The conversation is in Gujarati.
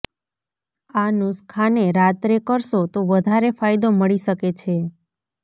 આ નુસખાને રાત્રે કરશો તો વધારે ફાયદો મળી શકે છે